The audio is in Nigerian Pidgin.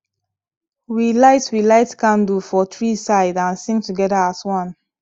we light we light candle for three side and sing together as one